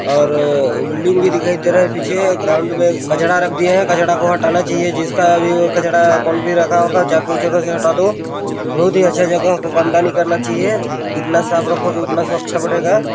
और बिल्डिंग भी दिखाई दे रहा है पीछे ग्राउन्ड में कचरा रख दिया है कचरा को हटाना चाइए जिसका भी हो कचरा कोन भी रखा होगा जाके उसे अभी हटा दो बहोत ही अच्छा जगह को गंदा नहीं करना चाइए जितना साफ रखोगे उतना स्वच्छ बनेगा--